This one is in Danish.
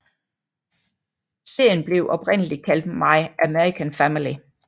Serien blev oprindeligt kaldt My American Family